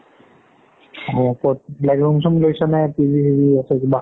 অ ক'ত like room চোম লৈছো নে, নে PG চিজি আছে কিবা